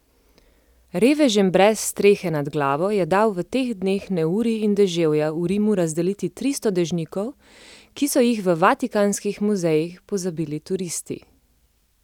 Revežem brez strehe nad glavo je dal v teh dneh neurij in deževja v Rimu razdeliti tristo dežnikov, ki so jih v vatikanskih muzejih pozabili turisti.